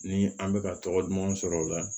Ni an bɛ ka tɔgɔ duman sɔrɔ o la